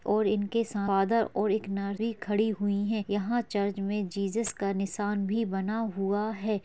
और इनके सा फादर और एक नर भी खड़ी हुई है यहाँ चर्च मे जीसस का नीसान भी बना हुआ है।